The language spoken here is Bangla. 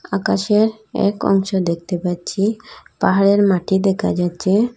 আকাশের এক অংশ দেখতে পাচ্ছি পাহাড়ের মাটি দেখা যাচ্ছে।